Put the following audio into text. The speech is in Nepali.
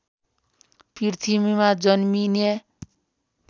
पृथ्वीमा जन्मिने